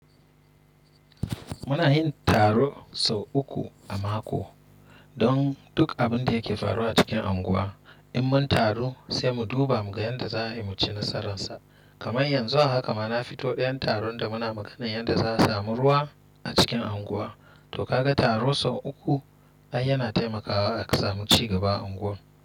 Muna yin taro sau uku a mako don duk abin da yake faruwa cikin unguwa. In mun taru sai mu duba mu ga yanda za mu ci nasararsa. Kamar yanzu a haka ma na fito ɗayan taron da muna magana yanda za a samu ruwa a cikin unguwa. To kaga taro sau uku ai yana taimakawa a samu cigaba a unguwar.